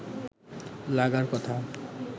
লাগার কথা